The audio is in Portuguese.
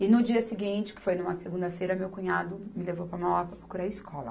E no dia seguinte, que foi numa segunda-feira, meu cunhado me levou para Mauá para procurar escola.